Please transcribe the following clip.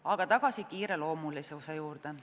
Aga tagasi kiireloomulisuse juurde.